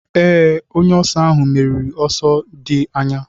Ee, onye oso ahụ meriri n'ọsọ dị anya.